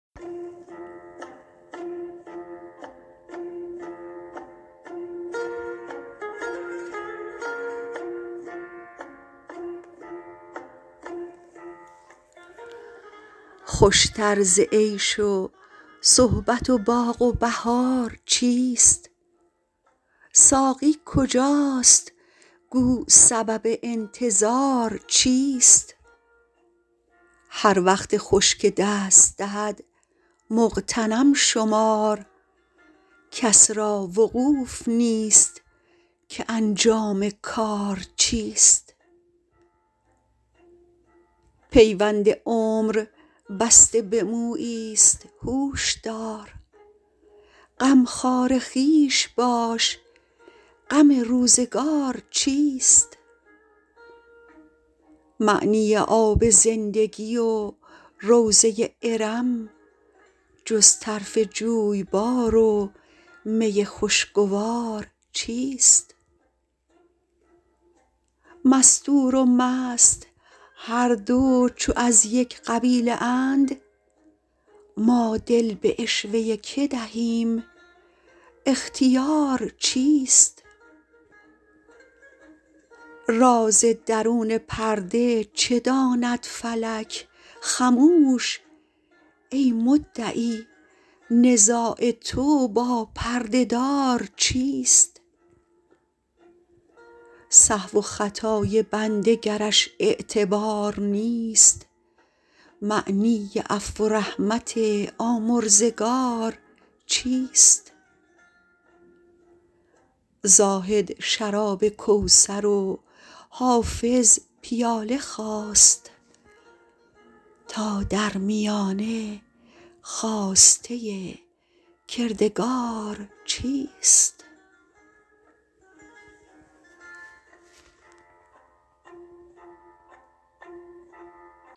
خوش تر ز عیش و صحبت و باغ و بهار چیست ساقی کجاست گو سبب انتظار چیست هر وقت خوش که دست دهد مغتنم شمار کس را وقوف نیست که انجام کار چیست پیوند عمر بسته به مویی ست هوش دار غمخوار خویش باش غم روزگار چیست معنی آب زندگی و روضه ارم جز طرف جویبار و می خوشگوار چیست مستور و مست هر دو چو از یک قبیله اند ما دل به عشوه که دهیم اختیار چیست راز درون پرده چه داند فلک خموش ای مدعی نزاع تو با پرده دار چیست سهو و خطای بنده گرش اعتبار نیست معنی عفو و رحمت آمرزگار چیست زاهد شراب کوثر و حافظ پیاله خواست تا در میانه خواسته کردگار چیست